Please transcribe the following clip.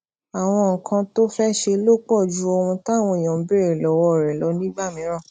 àwọn nǹkan tó o fé ṣe lè pò ju ohun táwọn èèyàn ń béèrè lówó rẹ lọ nígbà mìíràn